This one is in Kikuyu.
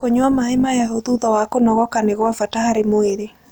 Kũnyua mae mahehũ thũtha wa kũnogoka nĩ gwa bata harĩ mwĩrĩ